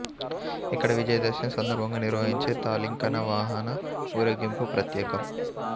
ఇక్కడ విజయదశమి సందర్భంగా నిర్వహించే తాలింఖానా వాహన ఊరేగింపు ప్రత్యేకం